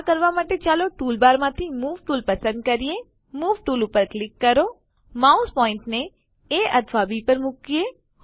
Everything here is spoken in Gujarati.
આ કરવા માટે ચાલો ટૂલબારમાંથી મૂવ ટૂલ પસંદ કરીએ મૂવ ટૂલ પર ક્લિક કરીએ માઉસ પોઇન્ટરને એ અથવા બી પર મુકીએ